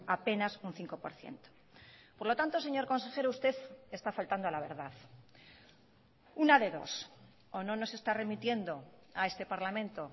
apenas un cinco por ciento por lo tanto señor consejero usted está faltando a la verdad una de dos o no nos está remitiendo a este parlamento